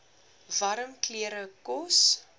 warm klere kos